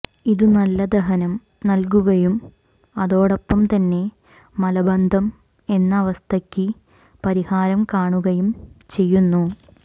ഇത് നല്ല ദഹനം നല്കുകയും അതോടൊപ്പം തന്നെ മലബന്ധം എന്ന അവസ്ഥക്ക് പരിഹാരം കാണുകയും ചെയ്യുന്നു